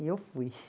E eu fui.